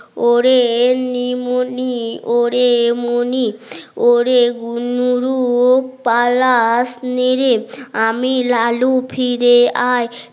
ওরে নিমুনি ওরে মনি ওরে গুনরুপালাস নি রেপ আমি লালু ফিরে আয়